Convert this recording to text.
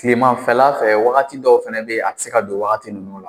Kilemanfɛla fɛ wagati dɔw fana be yen, a te se ka don wagati nunnu la.